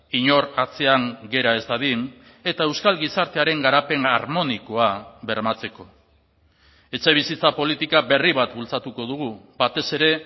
inor atzean gera ez dadin eta euskal gizartearen garapen harmonikoa bermatzeko etxebizitza politika berri bat bultzatuko dugu batez ere